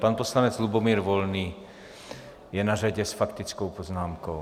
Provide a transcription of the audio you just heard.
Pan poslanec Lubomír Volný je na řadě s faktickou poznámkou.